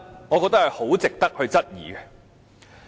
我認為這值得質疑。